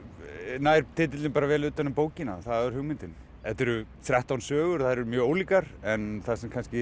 nær titillinn bara vel utan um bókina það var hugmyndin þetta eru þrettán sögur þær eru mjög ólíkar en það sem kannski